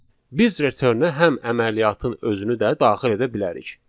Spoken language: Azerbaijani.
Biz return-ə həm əməliyyatın özünü də daxil edə bilərik.